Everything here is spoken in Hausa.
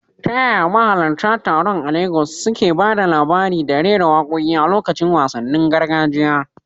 Ta yaya mahalarta taron a Legas suke ba da labari da rera waƙoƙi a lokacin wasannin gargajiya?